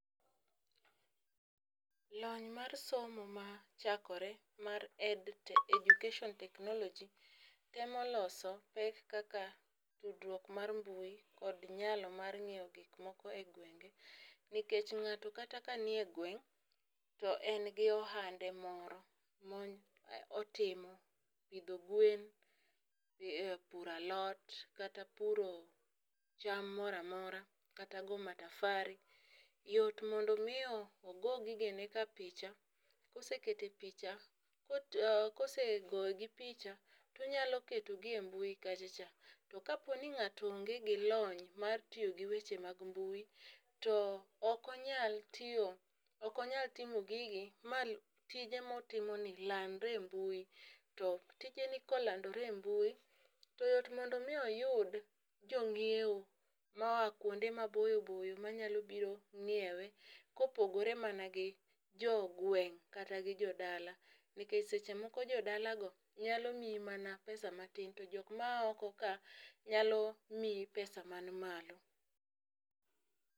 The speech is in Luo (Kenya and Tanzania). Lony mar somo machakore mar education technology temo loso pek kaka tudruok mar mbui kod nyalo mar nyiewo gik moko e gwenge. Nikech ng'ato kata ka nie gweng' to en gi ohande moro mony motimo pidho gwen, puro alot kata puro cham moramora kata goo matafari. Yot mondo mi ogo gige ne ka picha kosekete picha kosegogi picha tonyalo keto gi e mbui kacha cha. To ka po ni ng'ato onge gi lony mar tiyo gi weche mag mbui to ok onyal tiyo ok onyal timo gigi matije motimo ni landre e mbui to tijeni kolandore e mbui ,to yot mondo mi oyud jonyiew moa kuonde maboyo boyo manyalo biro ng'iewe kopogore mana gi jogweng' kata gi jodala nikech seche moko jodala go nyalo miyi mana pesa matin to jok ma aa oko ka nyalo miyi pesa man malo.